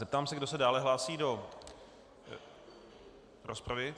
Zeptám se, kdo se dále hlásí do rozpravy.